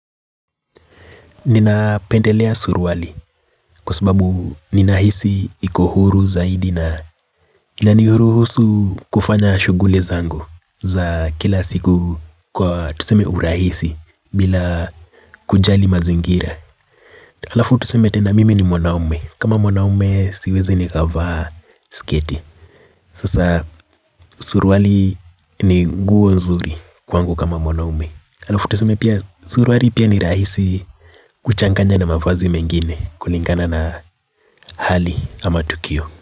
Ninapendelea surwali kwa sababu ninahisi iko huru zaidi na inanihuruhusu kufanya shuguli zangu za kila siku kwa tuseme urahisi bila kujali mazingira. Alafu tuseme tena mimi ni mwanaume kama mwanaume siezi nikavaa sketi. Sasa suruali ni nguo nzuri kwangu kama mwanaume. Alafu tuseme pia suruali pia ni rahisi kuchanganya na mavazi mengine kulingana na hali ama tukio.